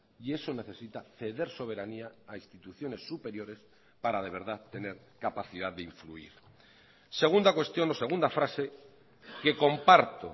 y eso necesita ceder soberanía a instituciones superiores para de verdad tener capacidad de influir segunda cuestión o segunda frase que comparto